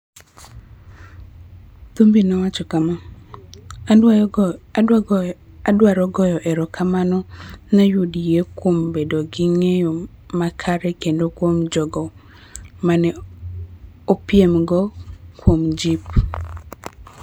Thumbi nowacho kama: �Adwaro goyo erokamano ne UDA kuom bedo gi ng�eyo makare kendo kuom jogo ma ne apiemgo kuom jip.�